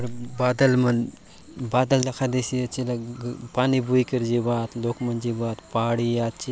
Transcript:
ये बादल मन बादल दखा देयसी आछे ये लगे पानी बोइकरी जिबा आत लोग मन जिबा आत पहाड़ी आ--